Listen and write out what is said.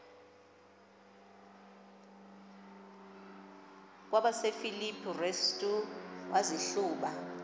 kwabasefilipi restu wazihluba